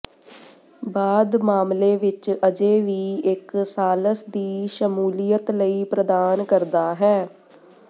ਬਾਅਦ ਮਾਮਲੇ ਵਿੱਚ ਅਜੇ ਵੀ ਇੱਕ ਸਾਲਸ ਦੀ ਸ਼ਮੂਲੀਅਤ ਲਈ ਪ੍ਰਦਾਨ ਕਰਦਾ ਹੈ